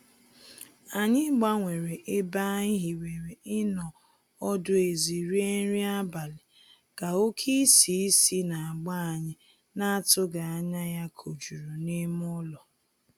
Anyị gbanwere ebe anyị hiwere ịnọ ọdụ ezi rie nri abalị, ka oke isì si n'agba anyị na-atụghị anya ya kojuru n'ime ụlọ.